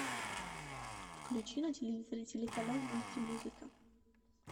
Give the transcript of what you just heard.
включи на телевизоре телеканал мультимузыка